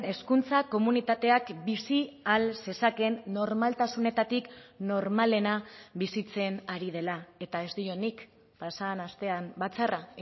hezkuntza komunitateak bizi ahal zezakeen normaltasunetatik normalena bizitzen ari dela eta ez diot nik pasa den astean batzarra